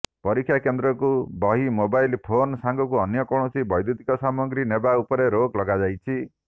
ପରୀକ୍ଷା କେନ୍ଦ୍ରକୁ ବହି ମୋବାଇଲ୍ ଫୋନ୍ ସାଙ୍ଗକୁ ଅନ୍ୟ କୌଣସି ବୈଦ୍ୟୁତିକ ସାମାଗ୍ରୀ ନେବା ଉପରେ ରୋକ୍ ଲଗାଯାଇଛି